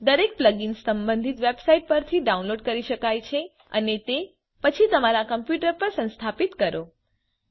દરેક પ્લગઇન સંબંધિત વેબસાઇટ પરથી ડાઉનલોડ કરી શકાય છે અને તે પછી તમારા કમ્પ્યુટર પર સંસ્થાપિત કરો